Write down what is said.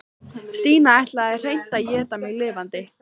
Stína ætlaði hreint að éta mig lifandi.